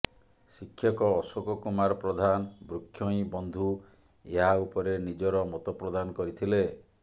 ଶିକ୍ଷକ ଅଶୋକ କୁମାର ପ୍ରଧାନ ବୃକ୍ଷ ହିଁ ବନ୍ଧୁ ଏହା ଉପରେ ନିଜର ମତ ପ୍ରଦାନ କରିଥିଲେ